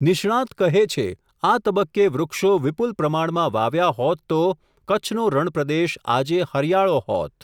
નિષ્ણાત કહે છે, આ તબક્કે વૃક્ષો વિપુલ પ્રમાણમાં વાવ્યા હોત તો, કચ્છનો રણપ્રદેશ આજે હરિયાળો હોત.